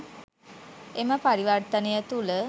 එම පරිවර්තනය තුළ